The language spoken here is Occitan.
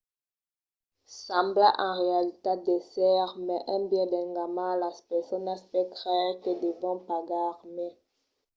sembla en realitat d'èsser mai un biais d’enganar las personas per creire que devon pagar mai